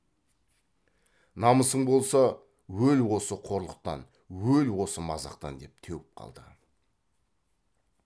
намысың болса өл осы қорлықтан өл осы мазақтан деп теуіп қалды